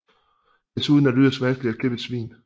Desuden er det yderst vanskeligt at klippe et svin